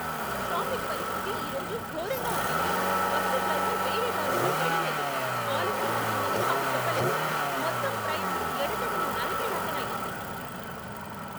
Traffic పరిస్థితి ఈరోజు ఘోరంగా ఉండింది. బస్సు డ్రైవర్ వేరే దారుల్లో వెళ్ళలేదు, ఆలస్యం అవుతుందని మాకు చెప్పలేదు, మొత్తం ప్రయాణం ఎడతెగని నరక యాతన అయ్యింది.